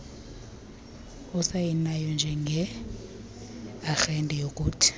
osayinayo njengearhente yokuthi